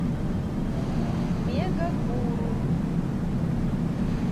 мегагуру